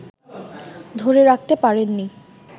ধরে রাখতে পারেননি